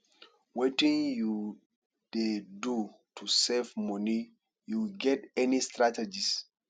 wetin you dey do to save money you get any strategies?